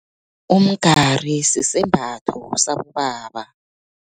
Umgari, sisembatho sabobaba.